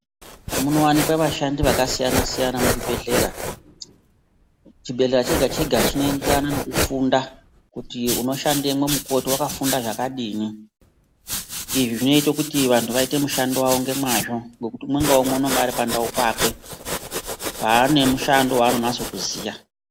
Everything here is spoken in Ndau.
Munowanikwa vashandi vakasiyana siyana muzvibhedhlera chibhedhlera chega chega chinoenderana nekufunda kuti unoshandemwo mukoti wakafunda zvakadini